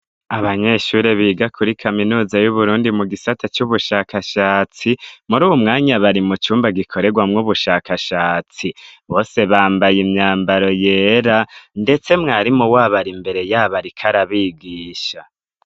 abanyeshuri biga kuri kaminuza y'uburundi mu gisata c'ubushakashatsi muruwu mwanya bari mu cumba gikoregwamwo ubushakashatsi bose bambaye imyambaro yera ndetse mwarimu wabo arimbereyaba ariko abigisha